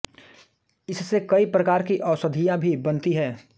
इससे कई प्रकार की औषधियाँ भी बनती हैं